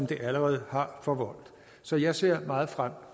det allerede har forvoldt så jeg ser meget frem